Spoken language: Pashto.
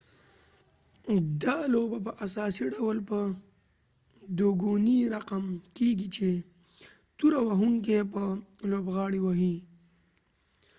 دا لوبه په اساسی ډول په دوګونی رقم کېږی چې توره وهونکې بل لوبغاړی وهی